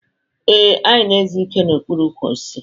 Ee, anyị na-ezu ike n'okpuru ukwu osisi.